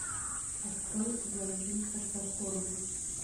открой блондинка в законе